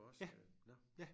Ja ja